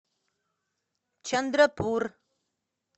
чандрапур